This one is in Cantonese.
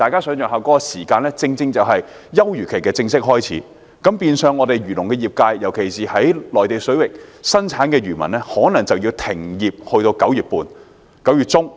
這段時間剛好是休漁期的開始，變相漁農業界，特別是在內地水域捕魚的漁民可能要停業至9月中。